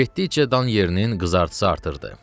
Getdikcə dan yerinin qızartısı artırdı.